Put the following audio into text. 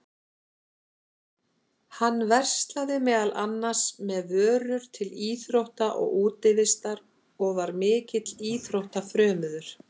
Hann verslaði meðal annars með vörur til íþrótta og útivistar og var mikill íþróttafrömuður.